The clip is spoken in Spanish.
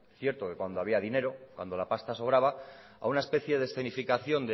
cierto que cuando había dinero cuando la pasta sobraba a una especie de felicitación